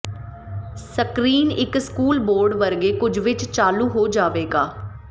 screen ਇੱਕ school board ਵਰਗੇ ਕੁਝ ਵਿੱਚ ਚਾਲੂ ਹੋ ਜਾਵੇਗਾ